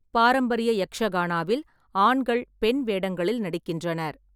பாரம்பரிய யக்ஷகானாவில் ஆண்கள் பெண் வேடங்களில் நடிக்கின்றனர்.